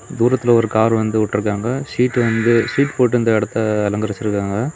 தூரத்தில ஒரு கார் வந்து உட்டிருக்காங்க சீட்டு வந்து சீட் போட்டு இந்த இடத்தை அலங்கரிச்சிருக்காங்க.